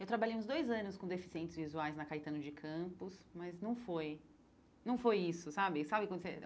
Eu trabalhei uns dois anos com deficientes visuais na Caetano de Campos, mas não foi não foi isso, sabe? Sabe quando você